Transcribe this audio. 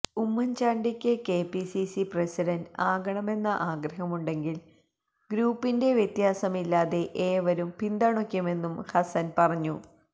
ഉമ്മൻ ചാണ്ടിക്ക് KPCC president ആകണമെന്ന ആഗ്രഹമുണ്ടെങ്കിൽ ഗ്രൂപ്പിന്റെ വ്യത്യാസമില്ലാതെ ഏവരും പിന്തുണയ്ക്കുമെന്നും ഹസ്സൻ പറഞ്ഞു